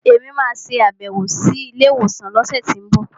Èmi máa sàbẹ̀wò sí ilé ìwòsàn lọ́sẹ̀tínbọ̀